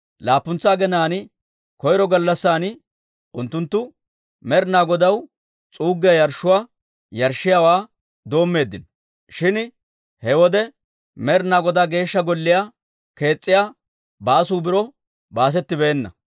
Laappuntsa aginaan koyro gallassan unttunttu Med'inaa Godaw s'uuggiyaa yarshshuwaa yarshshiyaawaa doommeeddino; shin he wode Med'ina Godaa Geeshsha Golliyaa kees's'iyaa baasuu biro baasettibeenna.